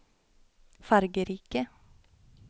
fargerike